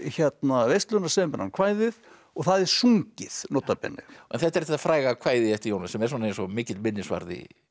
veisluna semur hann kvæðið og það er sungið nota bene en þetta er þetta fræga kvæði eftir Jónas sem er svona eins og mikill minnisvarði